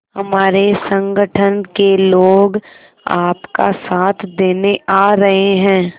हमारे संगठन के लोग आपका साथ देने आ रहे हैं